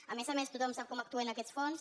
a més a més tothom sap com actuen aquests fons